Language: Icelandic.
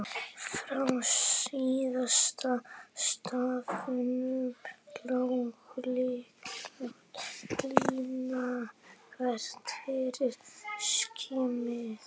Frá síðasta stafnum lá hlykkjótt lína þvert yfir skinnið.